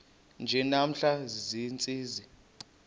nje namhla ziintsizi